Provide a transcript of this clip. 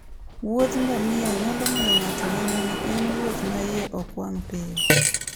wuodh ngamia nyalo miyo ng'ato neno ni en wuoth ma iye ok wang' piyo.